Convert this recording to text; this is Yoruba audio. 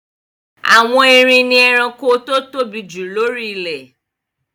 Àwọn erin ni ẹranko tó tóbi jù lóri ilẹ̀